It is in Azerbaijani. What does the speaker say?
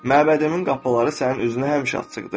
Məbədimin qapıları sənin üzünə həmişə açıqdır.